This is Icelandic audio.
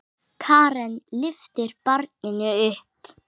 Karen lyftir barninu upp.